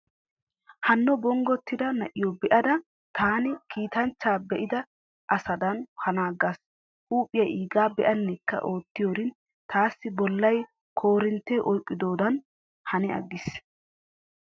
Hanno bonggottida na'iyo be'ada taani kiitanchcha be'ida asadan woykko qamman shooshshaa be'ida asadan hanaagaasi. Huuphiyaa iigaa be'annekka oottiyoorin taassi bollay korinttee oyqqidobadan hani aggiis.